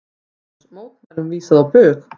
LÁRUS: Mótmælum vísað á bug.